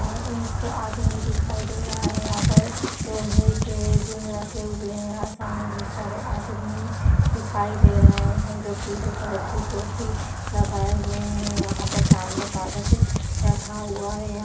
ने यह एक आदमी दिखाई दे रहा है यहाँ पर लोहे के बिम रखे हुए हैं यहाँ बोहत सारे आदमी दिखाई दे रहें हैं जो पीले कलर की टोपी लगाए हुए हैं | यहाँ पर सामने कागज़ रखा हुआ है।